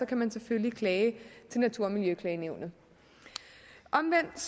kan man selvfølgelig klage til natur og miljøklagenævnet omvendt